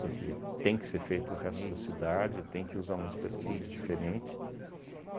porque tem que ser feito o resto da cidade, tem que usar uma expertise diferente.